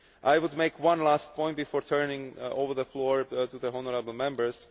I would make one last point before turning over the floor to the honourable Members.